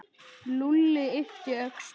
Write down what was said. Lúlli yppti öxlum.